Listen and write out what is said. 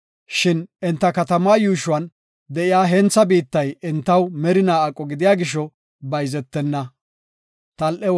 Shin enta katamaa yuushuwan de7iya hentha biittay entaw merinaa aqo gidiya gisho bayzetenna.